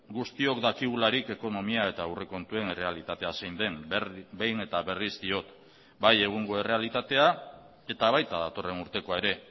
guztiok dakigularik ekonomia eta aurrekontuen errealitatea zein den behin eta berriz diot bai egungo errealitatea eta baita datorren urtekoa ere